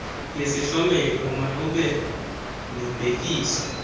yesihlomelo malube nobhekiso